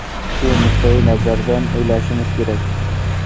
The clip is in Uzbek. Shu nuqtai nazardan o‘ylashimiz kerak.